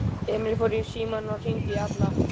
Emil fór í símann og hringdi í Alla.